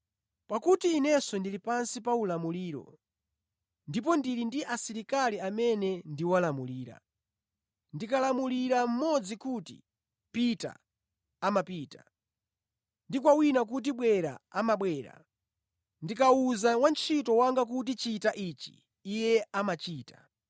Pakuti inenso ndili pansi pa ulamuliro ndipo ndili ndi asilikali amene ndiwalamulira. Ndikalamulira mmodzi kuti, ‘Pita,’ amapita; ndi kwa wina kuti, ‘Bwera,’ amabwera. Ndikawuza wantchito wanga kuti, ‘Chita ichi,’ iye amachita.”